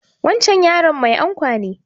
Wancan yaron mai ankwa ne